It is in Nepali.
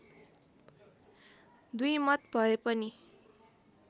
दुईमत भए पनि